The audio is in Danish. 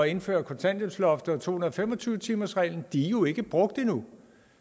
indføre kontanthjælpsloftet og to hundrede og fem og tyve timersreglen jo ikke er brugt endnu